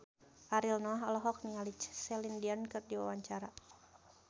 Ariel Noah olohok ningali Celine Dion keur diwawancara